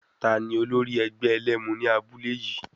Tani olórí ẹgbẹ́ ẹlẹ́mu ní abúlé yìí?